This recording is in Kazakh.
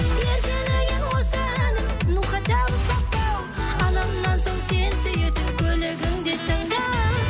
еркелеген осы әнім ну хотя бы папау анамнан соң сен сүйетін көлігіңде тыңда